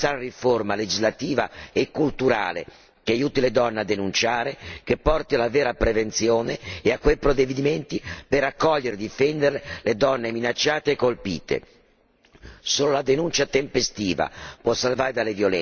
Ma non bastano le firme, ci deve essere in ogni paese la necessaria riforma legislativa e culturale che aiuti le donne a denunciare, che porti alla vera prevenzione e quei provvedimenti per accogliere e difendere le donne minacciate e colpite.